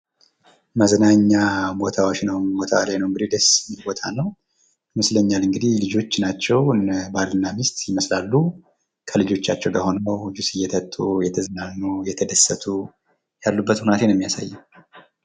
መዝናኛ ቦታዎች ቦታ ላይ ነው እንግዲህ ደስ የሚል ቦታ ነው። ይመስለኛ እንግዲህ ልጆች ናቸው ባልና ሚስት ይመስላሉ ከልጆቻቸው ጋር ሆነው ጅስ እየጠጡ፣ እየተዝናኑ፣ እየተደሰቱ ያሉበት ሁኔታ ነው የሚያሳየው።